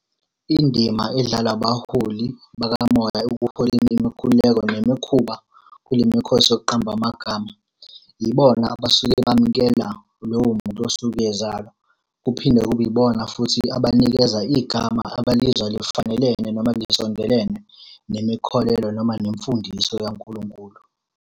Indima edlalwa abaholi bakamoya ekuholeni imikhuleko nemikhuba kule mikhosi yokuqamba amagama, yibona abasuke bamukela lowo muntu osuke ezalwa. Kuphinde kube ibona futhi abanikeza igama abalizwa lifanelene noma lisondelene nemikholelo noma nemfundiso yaNkulunkulu.